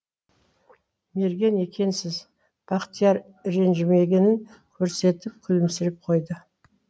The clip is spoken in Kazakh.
мерген екенсіз бақтияр ренжімегенін көрсетіп күлімсіреп қойды